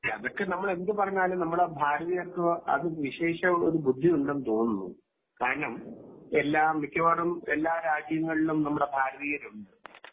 അതൊക്കെ നമ്മൾ എന്തു പറഞ്ഞാലും നമ്മുടെ ഭാരതീയർക്ക് അതിവിശേഷ ഒരു ബുദ്ധി ഉണ്ടെന്ന് തോന്നുന്നു കാരണം മിക്കവാറും എല്ലാ രാജ്യങ്ങളിലും നമ്മുടെ ഭാരതീയർ ഉണ്ട്